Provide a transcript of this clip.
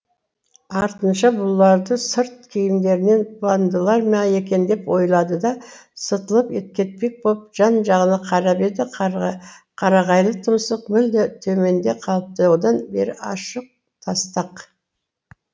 артынша бұлардың сырт киімдерінен бандылар ма екен деп ойлады да сытылып кетпек болып жан жағына қарап еді қарағайлы тұмсық мүлде төменде қалыпты одан бері ашық тастақ